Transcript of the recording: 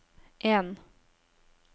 en